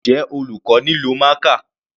Njẹ́ olùkọ́ nílò marker?